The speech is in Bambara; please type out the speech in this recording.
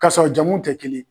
Ka sɔrɔ jamuw tɛ kelen ye.